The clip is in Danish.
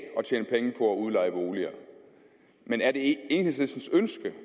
udleje boliger men er det enhedslistens ønske